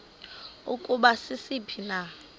ukuba sisiphi na